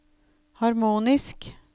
harmonisk